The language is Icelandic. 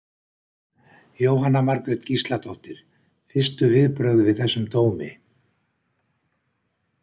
Jóhanna Margrét Gísladóttir: Fyrstu viðbrögð við þessum dómi?